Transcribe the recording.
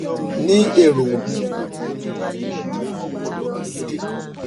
ni ero mi o ti ni ariyanjiyan ọpọlọ kekere kan